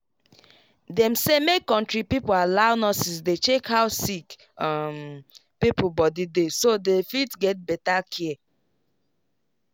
dem say make country people allow nurses dey check how sick um pipo body dey so dey fit get better care.